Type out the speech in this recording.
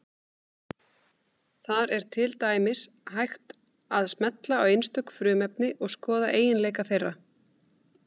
Þar er til dæmis hægt að smella á einstök frumefni og skoða eiginleika þeirra.